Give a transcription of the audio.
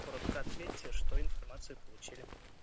коротко ответьте что информации получили